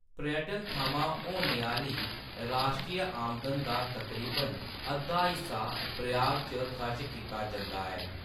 पर्यटन थमां होने आह्‌‌‌ली राश्ट्री आमदन दा तकरीबन अद्धा हिस्सा प्राग च खर्च कीता जंदा ऐ।